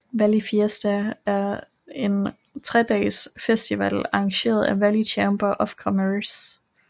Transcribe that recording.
Valley Fiesta er en tredages festival arrangeret af Valley Chamber of Commerce